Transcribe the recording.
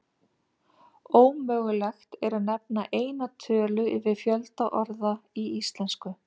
Ómögulegt er að nefna eina tölu yfir fjölda orða í íslensku.